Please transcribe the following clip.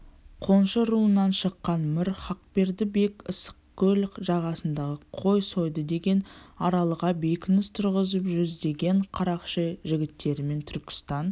қоншы руынан шыққан мір хақберді бек ыссықкөл жағасындағы қой сойды деген аралға бекініс тұрғызып жүздеген қарақшы жігіттерімен түркістан